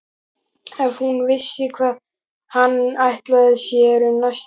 Ef hún vissi hvað hann ætlaði sér um næstu helgi!